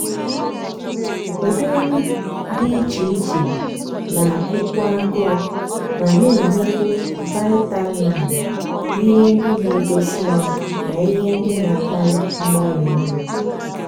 ụdị nri dị iche iche na-agụ kwu agụụ ma na-enyekwu vaịtaminụ ihe ndị na-edozi ahụ na ihe ndị na-akpali mgbari nri.